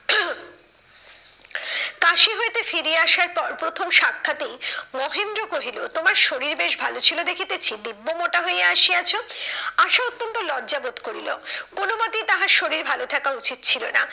কাশি হইতে ফিরিয়া আসার পর প্রথম সাক্ষাতেই মহেন্দ্র কহিল তোমার শরীর বেশ ভালো ছিল দেখিতেছি দিব্বো মোটা হইয়া আসিয়াছ। আশা অত্যন্ত লজ্জাবোধ করিল, কোনো মতেই তাহার শরীর ভালো থাকা উচিত ছিল না।